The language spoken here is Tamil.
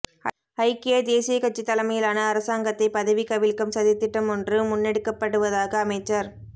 ஐக்கிய தேசியக்கட்சி தலைமையிலான அரசாங்கத்தை பதவி கவிழ்க்கும் சதித்திட்டமொன்று முன்னெடுக்கப்படுவதாக அமைச்சர்